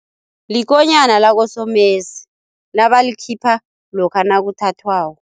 Likonyana lakosomesi nabalikhipha lokha nakuthathwako.